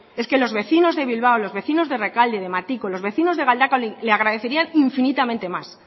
es que los vecinos de bilbao los vecinos de rekalde de matiko los vecinos de galdakao le agradecerían infinitamente más